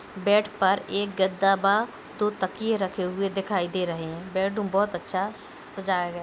Bed पर एक गद्दा बा दो तकिये रखे हुए दिखाई दे रहे हैं बैडरूम बहोत अच्छा सजाया गया है।